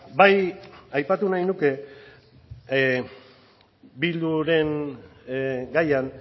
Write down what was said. bai aipatu nahi nuke bilduren gaian